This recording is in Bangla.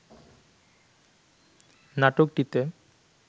নাটকটিতে